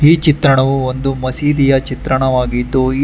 ಈ ಚಿತ್ರಣವು ಒಂದು ಮಸೀದಿಯ ಚಿತ್ರಣವಾಗಿದ್ದು ಈ.